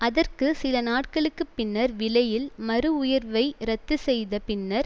அதற்கு சில நாட்களுக்கு பின்னர் விலையில் மறு உயர்வை இரத்து செய்த பின்னர்